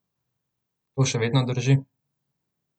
To še vedno drži?